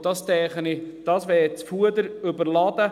Und das, denke ich, würde das Fuder überladen.